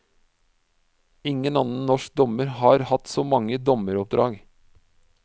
Ingen annen norsk dommer har hatt så mange dommeroppdrag.